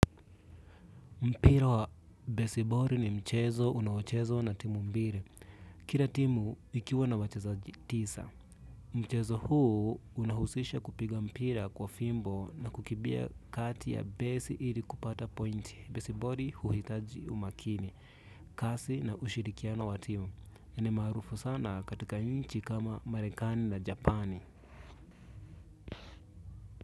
Mpira wa besiboli ni mchezo unaochezwa na timu mbili. Kila timu ikiwa na wachezaji tisa. Mchezo huu unahusisha kupiga mpira kwa fimbo na kukimbia kati ya besi ili kupata pointi besiboli huhitaji umakini. Kasi na ushirikiano wa timu. Ni maarufu sana katika nchi kama marekani na japani.